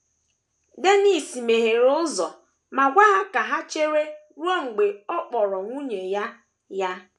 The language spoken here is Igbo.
Dennis meghere ụzọ ma gwa ha ka ha chere ruo mgbe ọ kpọrọ nwunye ya ya.